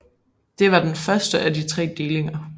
Det var den første af tre delinger